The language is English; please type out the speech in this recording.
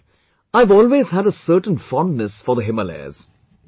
Well I have always had a certain fondness for the Himalayas